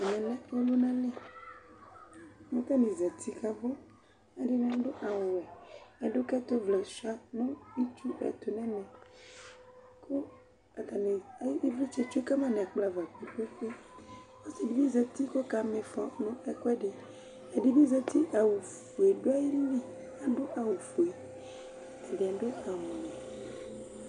Ɛmɛ lɛ ɔlʋnali : k' atanɩ zati kabʋƐdɩnɩ adʋ awʋ wɛ Ɛdʋkɛtʋ vlɛ sʋɩa nʋ itsu ɛtʋ nɛmɛAtanɩ ,ɩvlɩtsɛ tsue kama n' ɛkplɔ ava ;ɛdɩ bɩ zati kɔka mɩfɔ nɛkʋɛdɩ, ɛdɩ bɩ zati awʋ zi fue dʋ ayili ,ta dʋ awʋ fue ,ɛdɩ adʋ awʋ wɛ